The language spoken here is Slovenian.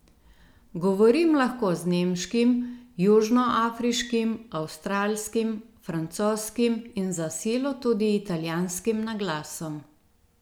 Govorim lahko z nemškim, južnoafriškim, avstralskim, francoskim in za silo tudi italijanskim naglasom.